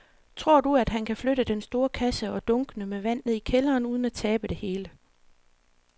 Tror du, at han kan flytte den store kasse og dunkene med vand ned i kælderen uden at tabe det hele?